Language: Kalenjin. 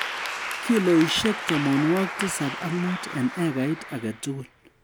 Kiloishek tamanwokik tisab ak muut eng ekait age tugul